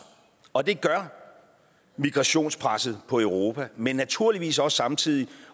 og det gør migrationspresset på europa men naturligvis også samtidig